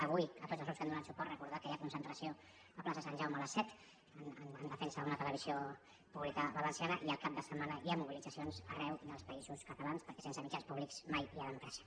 avui a tots els grups que hi han donat suport recordar que hi ha concentració a la plaça de sant jaume a les set en defensa d’una televisió pública valenciana i el cap de setmana hi ha mobilitzacions arreu dels països catalans perquè sense mitjans públics mai hi ha democràcia